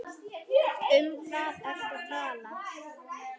Um hvað ertu að tala?